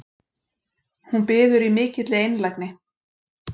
Hún biður í mikilli einlægni